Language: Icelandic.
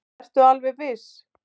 Ertu alveg viss?